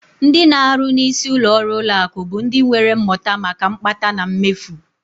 Ndị na-arụ n'isi ụlọọrụ ụlọakụ bụ ndị nwere mmụta maka mkpata na mmefu